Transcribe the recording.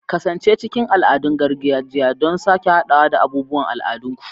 Kasance cikin al'adun gargajiya don sake haɗawa da abubuwan al'adunku.